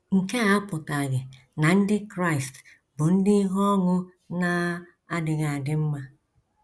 Nke a apụtaghị na Ndị Kraịst bụ ndị ihe ọṅụ na - adịghị adị mma.